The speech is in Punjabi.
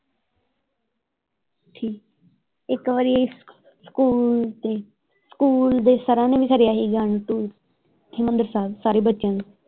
ਠੀਕ ਇੱਕ ਵਾਰੀ ਸਕੂਲ ਦੇ ਸਕੂਲ ਦੇ ਸਰਾਂ ਨੇ ਵੀ ਖੜ੍ਹਿਆ ਹੀ ਹਰਿਮੰਦਰ ਸਾਹਿਬ ਸਾਰੇ ਬੱਚਿਆਂ ਨੂੰ।